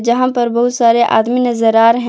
जहां पर बहुत सारे आदमी नजर आ रहे--